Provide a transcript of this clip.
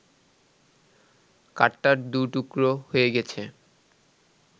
কাঠটা দু টুকরো হয়ে গেছে